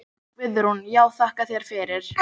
Guðrún: Já þakka þér fyrir.